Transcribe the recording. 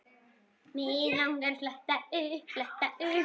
Mig langar að fletta upp.